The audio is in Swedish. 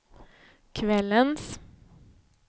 kvällens